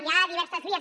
hi ha diverses vies